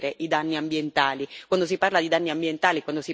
Solo in questo modo si possono prevenire i danni ambientali.